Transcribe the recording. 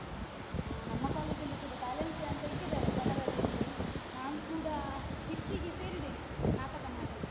ಆ ನಮ್ಮ college ಅಲ್ಲಿ ಕೂಡ talents day ಅಂತ ಇಟ್ಟಿದ್ದಾರೆ ಜನವರಿಯಲ್ಲಿ ನಾನ್ ಕೂಡ skit ಗೆ ಸೇರಿದ್ದೇನೆ ನಾಟಕ ಮಾಡ್ಲಿಕ್ಕೆ.